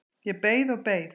Ég beið og beið.